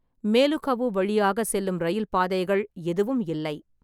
மேலுகவு வழியாக செல்லும் ரயில் பாதைகள் எதுவும் இல்லை.